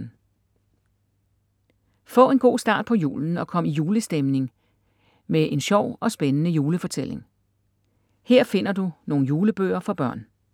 Få en god start på julen og kom i julestemning med en med sjov og spændende julefortælling. Her finder du nogle julebøger for børn.